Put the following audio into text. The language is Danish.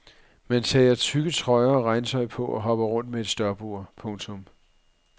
Man tager tykke trøjer og regntøj på og hopper rundt med et stopur. punktum